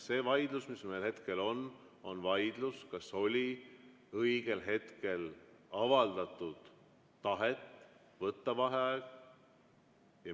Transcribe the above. See vaidlus, mis meil hetkel on, on vaidlus selle üle, kas oli õigel hetkel avaldatud tahet võtta vaheaeg.